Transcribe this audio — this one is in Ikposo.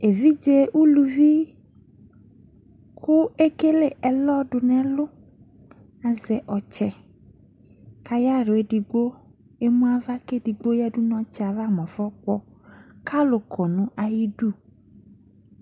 Evidze uluvi ko ekele ɛlɔ do n o ɛlu kazɛ ɔtsɛ ka ayahlaɛ edigbo emu ava ke edigbo yiadu no ɔtsɛ ava mo ɛfɔ kpɔ, ko alu kɔ no ayidu